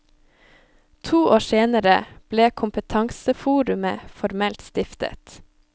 To år senere ble kompetanseforumet formelt stiftet.